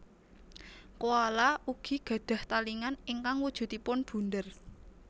Koala ugi gadhah talingan ingkang wujudipun bunder